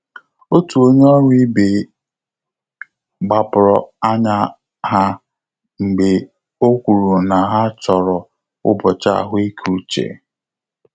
Ọ́tù ọ́nyé ọ́rụ́ íbé gbàpụ́rụ̀ ányá há mgbè ọ́ kwùrù nà há chọ́rọ́ ụ́bọ̀chị̀ àhụ́ị́ké úchè.